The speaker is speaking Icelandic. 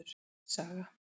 Sverris saga.